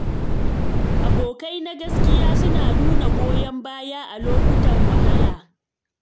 Abokai na gaskiya suna nuna goyon baya a lokutan wahala.